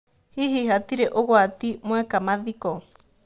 Hihi hatirĩ ũgwati mwika mathiko ?